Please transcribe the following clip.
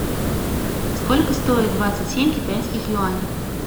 сколько стоит двадцать семь китайских юаней